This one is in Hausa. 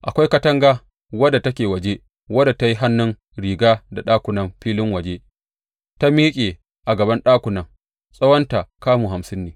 Akwai katanga wadda take waje, wadda ta yi hannun riga da ɗakunan filin waje; ta miƙe a gaban ɗakunan, tsawonta kamu hamsin ne.